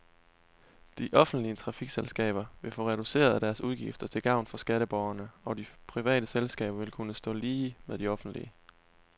De offentlige trafikselskaber vil få reduceret deres udgifter til gavn for skatteborgerne, og de private selskaber vil kunne stå lige med de offentlige.